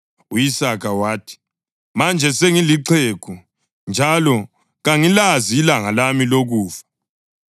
U-Isaka wathi, “Manje sengilixhegu, njalo kangilazi ilanga lami lokufa.